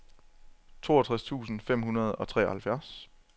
toogtres tusind fem hundrede og treoghalvfjerds